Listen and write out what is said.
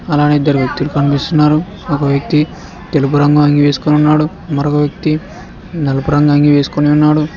అలానే ఇద్దరు వ్యక్తులు కనిపిస్తున్నారు ఒక వ్యక్తి తెలుపు రంగు అంగీ వేసుకొనున్నాడు మరొక వ్యక్తి నలుపు రంగు అంగి వేసుకొని ఉన్నాడు.